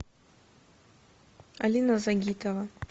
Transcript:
алина загитова